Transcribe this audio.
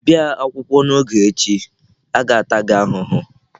Ị bịa akwụkwọ n'oge echi, a ga-ata gị ahụhụ.